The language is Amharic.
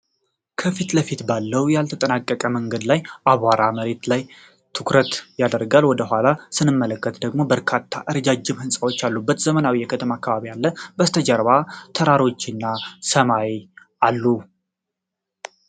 ከፊት ለፊት ባለው ያልተጠናቀቀ መንገድ እና አቧራማ መሬት ላይ ትኩረት ይደረጋል። ወደ ኋላ ስንመለከት ደግሞ በርካታ ረጃጅም ሕንጻዎች ያሉበት ዘመናዊ የከተማ አከባቢ አለ። ከበስተጀርባም ተራሮችና ሰማይ አሉ።